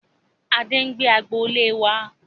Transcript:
Adé ń gbé agboolé wá.